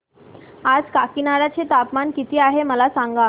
आज काकीनाडा चे तापमान किती आहे मला सांगा